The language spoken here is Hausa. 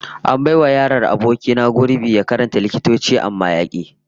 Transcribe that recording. An bai wa yaron aboki na gurbi ya karanta likitanci amma ya ki